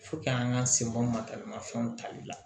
an ka sebaw mataramafɛnw tali la